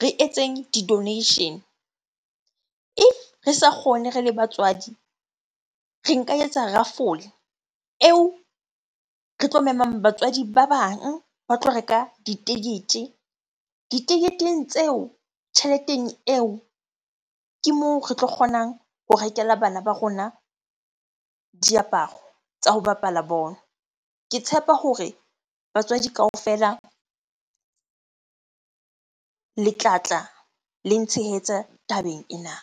re etseng di-donation. If re sa kgone re le batswadi, re nka etsa rafole eo re tlo memang batswadi ba bang ba tlo reka ditekete. Diteketeng tseo, tjheleteng eo ke moo re tlo kgonang ho rekela bana ba rona diaparo tsa ho bapala bolo. Ke tshepa hore batswadi kaofela le tlatla le ntshehetsa tabeng ena.